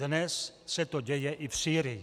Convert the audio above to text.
Dnes se to děje i v Sýrii.